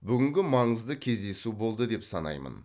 бүгін маңызды кездесу болды деп санаймын